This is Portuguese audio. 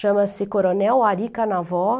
Chama-se Coronel Ari Canavó.